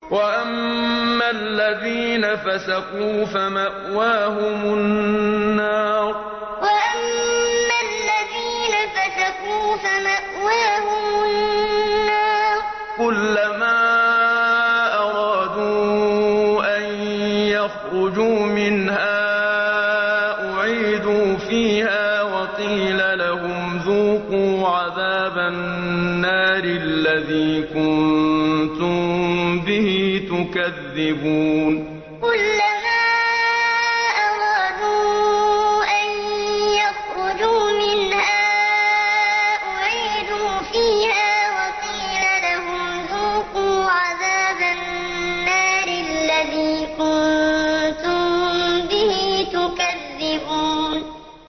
وَأَمَّا الَّذِينَ فَسَقُوا فَمَأْوَاهُمُ النَّارُ ۖ كُلَّمَا أَرَادُوا أَن يَخْرُجُوا مِنْهَا أُعِيدُوا فِيهَا وَقِيلَ لَهُمْ ذُوقُوا عَذَابَ النَّارِ الَّذِي كُنتُم بِهِ تُكَذِّبُونَ وَأَمَّا الَّذِينَ فَسَقُوا فَمَأْوَاهُمُ النَّارُ ۖ كُلَّمَا أَرَادُوا أَن يَخْرُجُوا مِنْهَا أُعِيدُوا فِيهَا وَقِيلَ لَهُمْ ذُوقُوا عَذَابَ النَّارِ الَّذِي كُنتُم بِهِ تُكَذِّبُونَ